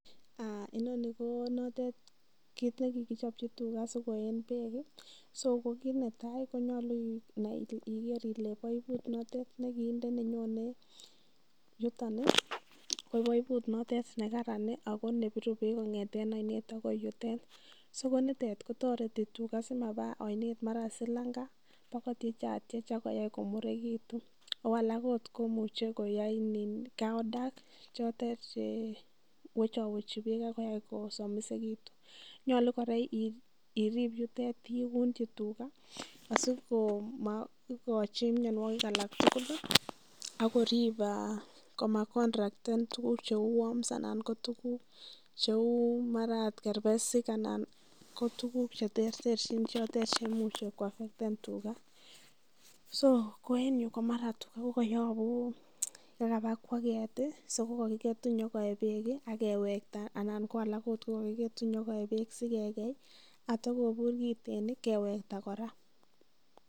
Inoni ko notet kiit ne kigichopchi tuga sikoeen beek. So ko kiit netai konyolu igere ile baibut notet ne kiinde nenyone yuton ko baibut notet nekaran ago nebiru beek kong'eten oinet agoi yutet. So ko nitet ko toreti tuga simaba oinet mara silanga bakotyechatyech ak koyai komuregitun. Ago alak ot komuche koyai cow dung che wechowechi beek ak koyai kosomisegitun. Nyolu kora irib yutet iunchi tuga asi komaigochi mianwogik alak tugul ak korib koma contracten tuguk cheu worms anan ko tuguk cheu mara ot kerbesik anan ko tuguk che terterchin chotet che imuche koaffecten tuga. So ko en yu komara tuga kokoyobu kokaba kaeget so kogokiketu konyo koe beek ak kewekta anan ot ko alak kogakiketu nyo koe beek sikekei ak kotakobur kiten kewekta kora.